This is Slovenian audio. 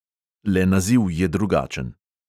Le naziv je drugačen.